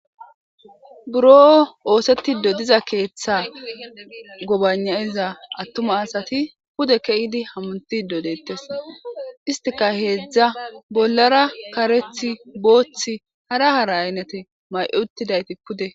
Biro oosetidi diza keeththe gobanaiza attuma asati pude kiyidi hametidi deettes. Istika heezza bollara kareth, booth ,hara hara aynete mayi uttida.